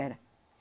Era.